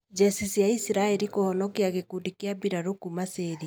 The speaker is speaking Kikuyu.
Njeci cia Isiraeri kũhonokia gĩkundi gĩa mbĩrarũ kuma Syria.